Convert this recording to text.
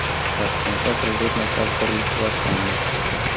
Toshkentda Prezident maktabi qurilishi boshlandi.